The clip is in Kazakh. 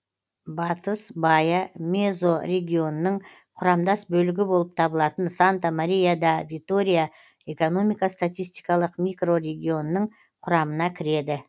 батыс баия мезорегионының құрамдас бөлігі болып табылатын санта мария да витория экономика статистикалық микрорегионының құрамына кіреді